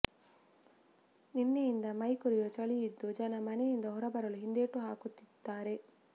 ನಿನ್ನೆಯಿಂದ ಮೈ ಕೊರೆಯುವ ಚಳಿ ಇದ್ದು ಜನ ಮನೆಯಿಂದ ಹೊರಬರಲು ಹಿಂದೇಟು ಹಾಕುತ್ತಿದ್ದಾರೆ